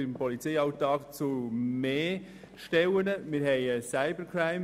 Wenn sie nur um 1 Prozent hätten reduzieren müssen, würden sie Gott dafür danken.